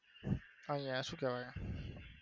અહીંયા સુ કેવાય?